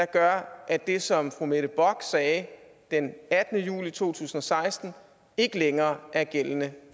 gør at det som fru mette bock sagde den attende juli to tusind og seksten ikke længere er gældende